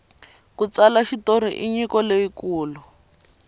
ku tsala xitori i nyiko leyi kulu